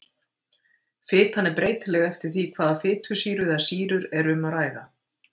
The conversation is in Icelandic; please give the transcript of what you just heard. Fitan er breytileg eftir því hvaða fitusýru eða sýrur er um að ræða.